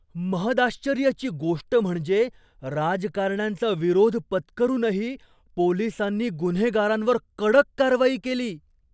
महदाश्चर्याची गोष्ट म्हणजे, राजकारण्यांचा विरोध पत्करूनही पोलिसांनी गुन्हेगारांवर कडक कारवाई केली!